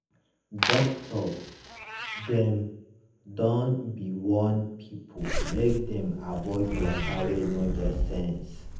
doctor dem don be warn pipo make dem avoid waka wey no get sense.